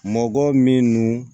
Mɔgɔ min no